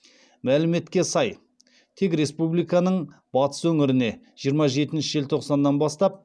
мәліметке сай тек республиканың батыс өңірлеріне жиырма жетінші желтоқсаннан бастап